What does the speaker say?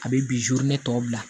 A bɛ ne tɔ bila